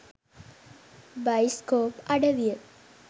Bioscope අඩවිය.